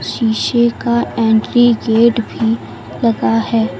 शीशे का entry gate भी लगा है।